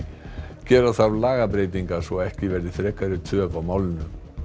gera þarf lagabreytingar svo ekki verði frekari töf á málinu